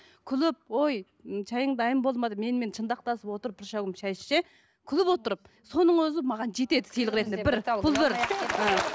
күліп ой шайың дайын болды ма деп менімен шынтақтасып отырып бір шәугім шай ішсе күліп отырып соның өзі маған жетеді сыйлық ретінде бір бұл бір ы